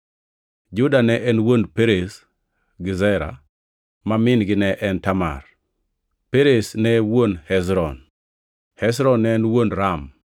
Juda ne en wuon Perez gi Zera, ma min-gi ne en Tamar, Perez ne en wuon Hezron, Hezron ne en wuon Ram,